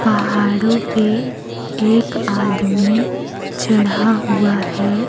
पहाड़ों पे एक आदमी चढ़ा हुआ है।